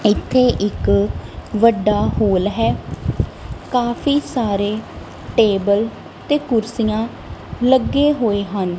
ਇੱਥੇ ਇੱਕ ਵੱਡਾ ਹੋਲ ਹੈ ਕਾਫੀ ਸਾਰੇ ਟੇਬਲ ਤੇ ਕੁਰਸੀਆਂ ਲੱਗੇ ਹੋਏ ਹਨ।